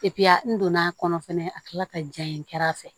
n donn'a kɔnɔ fɛnɛ a tila ka ja in kɛr'a fɛ